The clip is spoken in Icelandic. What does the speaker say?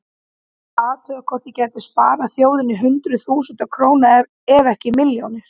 Ég ætlaði að athuga hvort ég gæti sparað þjóðinni hundruð þúsunda króna ef ekki milljónir.